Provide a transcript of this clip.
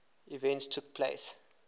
events took place